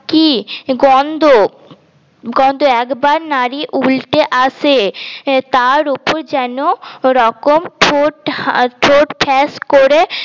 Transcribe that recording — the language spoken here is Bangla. কি গন্ধ গন্ধ একবার নাড়ি উলটে আসে তার উপর যেন রকম ঠোঁট ঠোঁট ফ্যাস করে